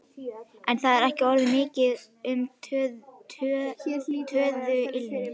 En það er ekki orðið mikið um töðuilm.